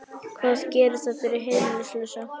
Hvað gerir það fyrir heimilislausa?